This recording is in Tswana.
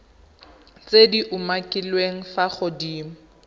tse di umakiliweng fa godimo